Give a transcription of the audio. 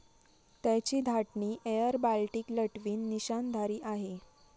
त्याची धाटणी airBaltic Latvian निशांनधारी आहे.